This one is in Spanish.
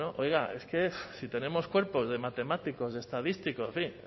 cuántos oiga es que si tenemos cuerpos de matemáticos de estadísticos en fin no